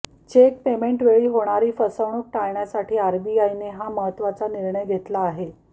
check पेमेंटवेळी होणारी फसवणूक टाळण्यासाठी आरबीआयने हा महत्त्वाचा निर्णय घेतला आहे